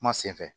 Kuma senfɛ